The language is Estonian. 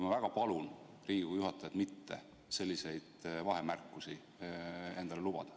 Ma väga palun Riigikogu juhatajat mitte selliseid vahemärkusi endale lubada.